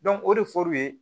o de fɔr'u ye